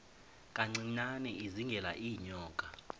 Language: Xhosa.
kancinane izingela iinyoka